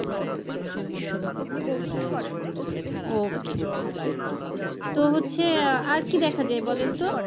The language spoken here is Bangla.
okay তো হচ্ছে আর কী দেখা যায় বলেন তো?